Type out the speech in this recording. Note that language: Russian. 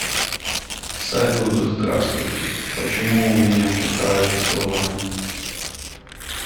салют здравствуйте почему у меня чета арестованы